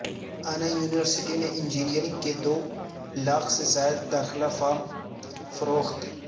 انا university میں engineering کے دو لاکھ سے زائد داخلہ فارم فروخت